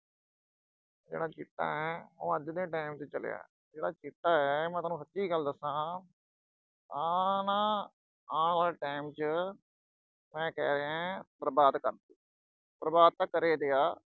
ਆਹ ਜਿਹੜਾ ਚਿੱਟਾ ਉਹ ਅੱਜ ਦੇ time 'ਚ ਚੱਲਿਆ, ਇਹ ਜਿਹੜਾ ਚਿੱਟਾ ਅਹ ਮੈਂ ਸੋਨੂੰ ਸੱਚੀ ਗੱਲ ਦੱਸਾਂ। ਆਹ ਨਾ ਅਹ ਆਉਣ ਵਾਲੇ time 'ਚ ਮੈਂ ਕਹਿ ਰਿਹਾਂ, ਬਰਬਾਦ ਕਰਦੂ। ਬਰਬਾਦ ਤਾਂ ਕਰ ਈ ਲਿਆ।